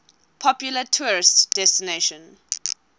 popular tourist destination